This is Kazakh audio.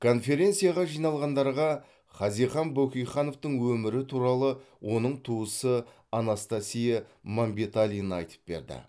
конференцияға жиналғандарға хазихан бөкейхановтың өмірі туралы оның туысы анастасия мәмбеталина айтып берді